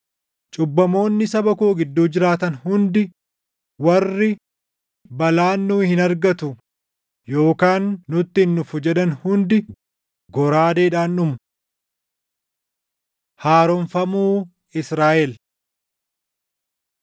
Cubbamoonni saba koo gidduu jiraatan hundi Warri, ‘Balaan nu hin argatu yookaan nutti hin dhufu’ jedhan hundi goraadeedhaan dhumu. Haaromfamuu Israaʼel